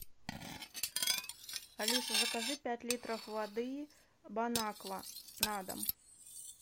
алиса закажи пять литров воды бон аква на дом